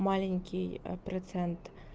маленький процент